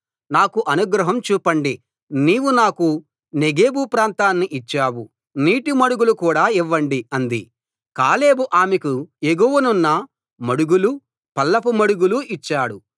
నాకు అనుగ్రహం చూపండి నీవు నాకు నెగెబు ప్రాంతాన్ని ఇచ్చావు నీటి మడుగులు కూడా ఇవ్వండి అంది కాలేబు ఆమెకు ఎగువనున్న మడుగులూ పల్లపు మడుగులూ ఇచ్చాడు